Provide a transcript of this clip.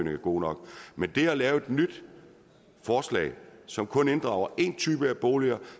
er god nok men det at lave et nyt forslag som kun inddrager en type boliger og